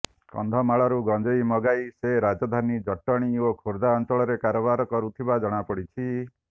କନ୍ଧମାଳରୁ ଗଞ୍ଜେଇ ମଗାଇ ସେ ରାଜଧାନୀ ଜଟଣୀ ଓ ଖୋର୍ଧା ଅଞ୍ଚଳରେ କାରବାର କରୁଥିବା ଜଣାପଡ଼ିଛି